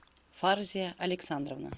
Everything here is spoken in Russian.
фарзия александровна